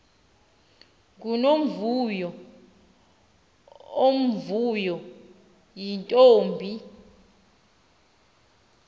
ngunomvuyo omvuyo yintombi